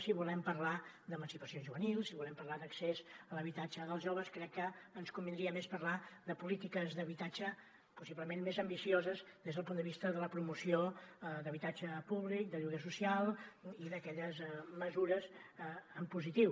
si volem parlar d’emancipació juvenil si volem parlar d’accés a l’habitatge dels joves crec que ens convindria més parlar de polítiques d’habitatge possiblement més ambicioses des del punt de vista de la promoció d’habitatge públic de lloguer social i d’aquelles mesures en positiu